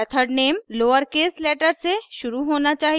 method name lowercase letter से शुरू होना चाहिए